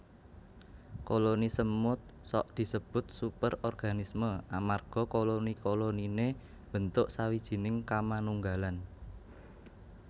Koloni semut sok disebut superorganisme amarga koloni koloniné mbentuk sawijining kamanunggalan